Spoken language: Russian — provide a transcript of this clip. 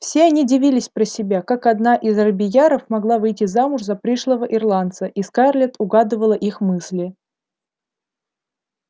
все они дивились про себя как одна из робийяров могла выйти замуж за пришлого ирландца и скарлетт угадывала их мысли